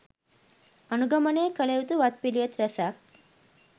අනුගමනය කළයුතු වත් පිළිවෙත් රැසක්